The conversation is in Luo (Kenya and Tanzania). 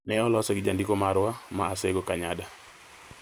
Ne olose gi Jandiko marwa, ma Asego Kanyada.